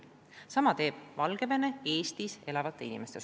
Sama teeb Valgevene Eestis elavatele inimestele.